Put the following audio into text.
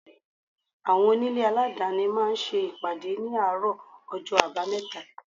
Àwọn onílé aladani máa ń ṣe ìpàdé ní àárọ̀ ọjọ́ abameta.